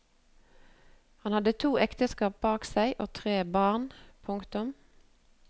Han hadde to ekteskap bak seg og tre barn. punktum